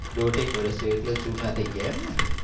દોઢેક વર્ષ થયું એટલે જૂના થઈ ગયા એમને.